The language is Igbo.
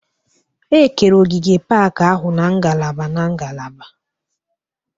E kere ogige pak ahụ n'ngalaba n'ngalaba